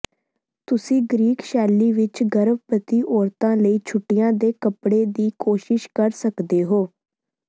ਤੁਸੀਂ ਗ੍ਰੀਕ ਸ਼ੈਲੀ ਵਿਚ ਗਰਭਵਤੀ ਔਰਤਾਂ ਲਈ ਛੁੱਟੀਆਂ ਦੇ ਕੱਪੜੇ ਦੀ ਕੋਸ਼ਿਸ਼ ਕਰ ਸਕਦੇ ਹੋ